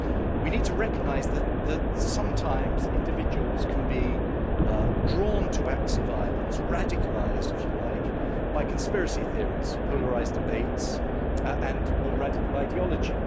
We need to recognise that that sometimes individuals can be drawn to acts of violence radicalised, if you like by conspiracy theories, polarised debates and more radical ideology.